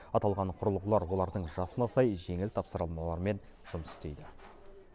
аталған құрылғылар олардың жасына сай жеңіл тапсырмалармен жұмыс істейді